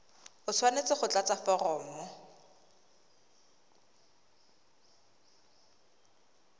o tshwanetse go tlatsa foromo